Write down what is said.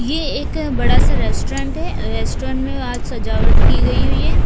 ये एक बड़ा सा रेस्टोरेंट है रेस्टोरेंट में आज सजावट की गई हुई है।